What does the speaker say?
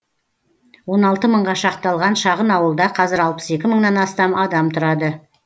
он алты мыңға шақталған шағын ауылда қазір алпыс екі мыңнан астам адам тұрады